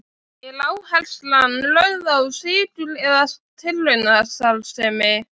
Er áherslan lögð á sigur eða tilraunastarfsemi?